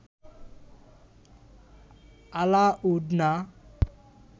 allowed না